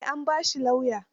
Eh, an ba shi lauya.